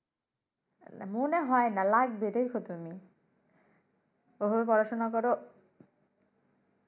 মনে হয় না টাকা লাগবে দেইখো তুমি ঐভাবে পড়াশোনা কর